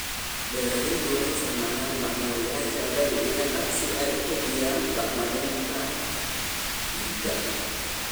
Beeraleydu waxay isticmaalaan bacrimiyeyaasha dabiiciga ah si ay u kordhiyaan bacriminta ciidda.